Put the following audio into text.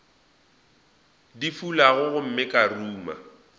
di fulago gomme ka ruma